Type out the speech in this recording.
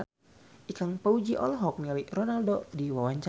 Ikang Fawzi olohok ningali Ronaldo keur diwawancara